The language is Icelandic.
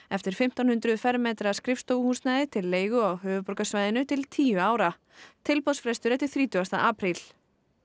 eftir fimmtán hundruð fermetra skrifstofuhúsnæði til leigu á höfuðborgarsvæðinu til tíu ára tilboðsfrestur er til þrítugasta apríl